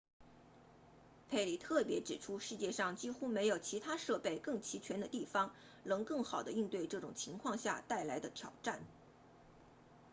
佩里特别指出世界上几乎没有其他设备更齐全的地方能更好地应对这种情况下带来的挑战